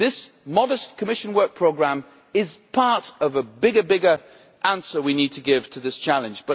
This modest Commission Work Programme is part of a bigger answer we need to give to this challenge.